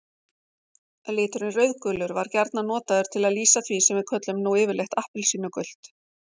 Liturinn rauðgulur var gjarnan notaður til að lýsa því sem við köllum nú yfirleitt appelsínugult.